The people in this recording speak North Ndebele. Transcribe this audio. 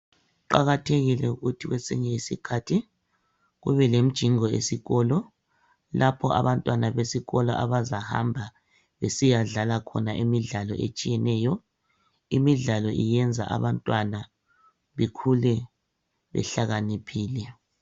Kuqakathekile ukuthi kwesinye isikhathi kube lemjingo esikolo .Lapho abantwana besikolo abazahamba besiyadlala khona imidlalo etshiyeneyo. Imidlalo yenza abantwana bekhule behlakaniphile .